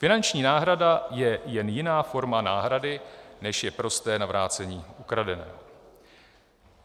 Finanční náhrada je jen jiná forma náhrady, než je prosté navrácení ukradeného.